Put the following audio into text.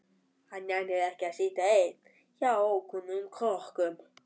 Hann nennir ekki að sitja einn hjá ókunnugum krökkum.